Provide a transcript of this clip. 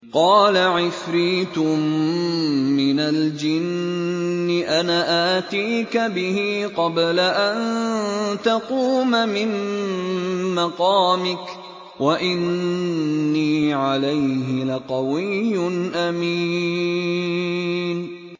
قَالَ عِفْرِيتٌ مِّنَ الْجِنِّ أَنَا آتِيكَ بِهِ قَبْلَ أَن تَقُومَ مِن مَّقَامِكَ ۖ وَإِنِّي عَلَيْهِ لَقَوِيٌّ أَمِينٌ